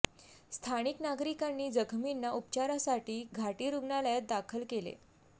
स्थानिक नागरिकांनी जखमींना उपचारासाठी घाटी रूग्णालयात दाखल केले